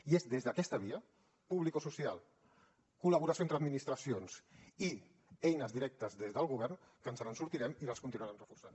i és des d’aquesta via publicosocial col·laboració entre administracions i eines directes des del govern que ens en sortirem i les continuarem reforçant